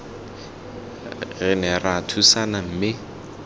re ne ra thusana mme